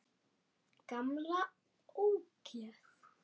Gamla ógeð!